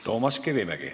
Toomas Kivimägi.